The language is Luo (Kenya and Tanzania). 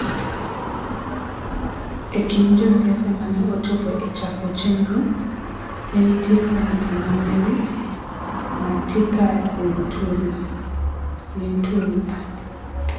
E kind josiasa mane ochopo e chako chenrono, ne nitie Seneta ma Meru, Mithika Linturi,